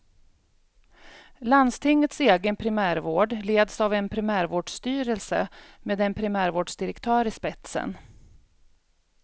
Landstingets egen primärvård leds av en primärvårdsstyrelse med en primärvårdsdirektör i spetsen.